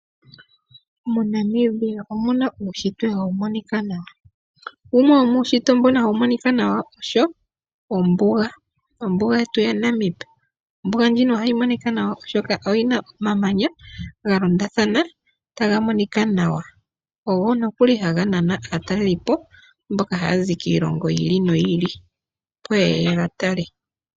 Mo Namibia omuna uushitwe hawu monika nawa. Wumwe womuushitwe mboka hawu monika nawa osho ombuga, ombuga ya Namib. Ombuga ndjika ohayi monika nawa oshoka oyina omamanya ga londothana taga monika nawa, ogo nee haga naana aataleli po mboka haya zi kiilongo yi ili noyi ili, opo yeye yega tale.